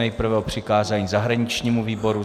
Nejprve o přikázání zahraničnímu výboru.